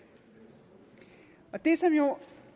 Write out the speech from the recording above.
det som jo